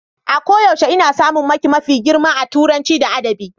A koyaushe ina samun maki mafi girma a Turanci da Adabi.